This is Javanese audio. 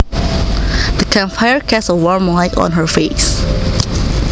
The campfire cast a warm light on her face